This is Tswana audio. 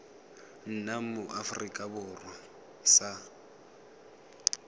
nna mo aforika borwa sa